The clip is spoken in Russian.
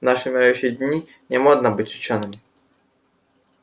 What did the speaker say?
в наши умирающие дни не модно быть учёным